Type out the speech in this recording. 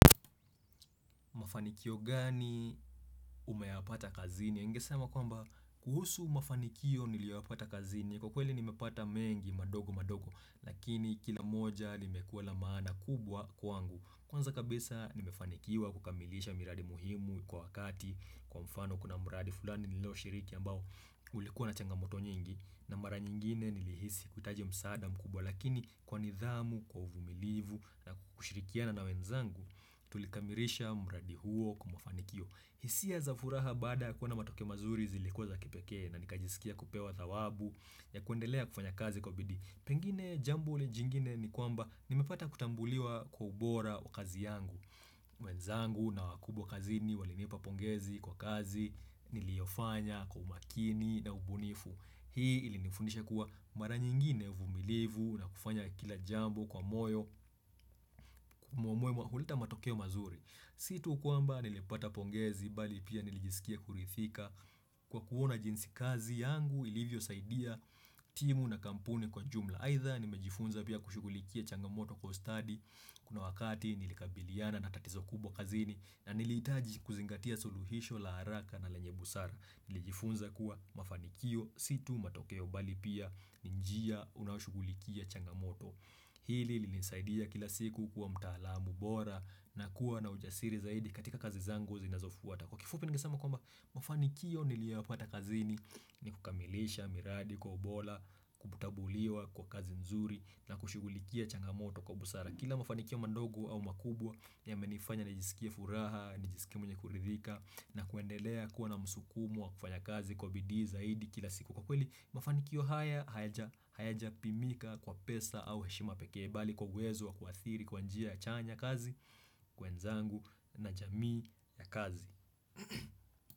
Mafanikio gani umeyapata kazini? Ningesema kwamba kuhusu mafanikio niliyoyapata kazini. Kwa kweli nimepata mengi madogo madogo. Lakini kila moja limekuwa la maana kubwa kwangu. Kwanza kabisa nimefanikiwa kukamilisha miradi muhimu kwa wakati. Kwa mfano kuna mradi fulani nililoshiriki ambao ulikuwa na changamoto nyingi. Na mara nyingine nilihisi kutaja msaada mkubwa. Lakini kwa nidhamu, kwa uvumilivu na kushirikiana na wenzangu. Tulikamilisha mradi huo kwa mafanikio hisia za furaha baada kuwa na matokeo mazuri zilikuwa za kipekee na nikajisikia kupewa thawabu ya kuendelea kufanya kazi kwa bidii Pengine jambo jingine ni kwamba nimepata kutambuliwa kwa ubora wa kazi yangu mwenzangu na wakubwa kazini walinipa pongezi kwa kazi niliyofanya kwa umakini na ubunifu. Hii ilinifundisha kuwa mara nyingine uvumilivu na kufanya kila jambo kwa moyo huleta matokeo mazuri. Si tu kwamba nilipata pongezi bali pia nilijisikia kurithika kwa kuona jinsi kazi yangu ilivyosaidia timu na kampuni kwa jumla. Aidha nimejifunza pia kushughulikia changamoto Kwa ustadi kuna wakati nilikabiliana na tatizo kubwa kazini na nilihitaji kuzingatia suluhisho la haraka na lenye busara. Nilijifunza kuwa mafanikio si tu matokeo bali pia ni njia unaoshughulikia changamoto. Hili lilinisaidia kila siku kuwa mtaalamu bora na kuwa na ujasiri zaidi katika kazi zangu zinazofuata Kwa kifupi ningesema kwamba mafanikio niliyoyapata kazini ni kukamilisha miradi kwa ubora kutambuliwa kwa kazi nzuri na kushughulikia changamoto kwa busara Kila mafanikio mandogo au makubwa yamenifanya nijisikie furaha, nijisikie mwenye kuridhika na kuendelea kuwa na msukumo wa kufanya kazi kwa bidii zaidi kila siku Kwa kweli, mafanikio haya, hayajapimika kwa pesa au heshima pekee bali kwa uwezo wa kuadhiri kwa njia ya chanya kazi, wenzangu na jamii ya kazi.